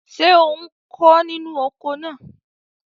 Ṣé ò ń kó inú oko náà?